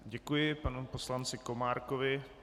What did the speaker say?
Děkuji panu poslanci Komárkovi.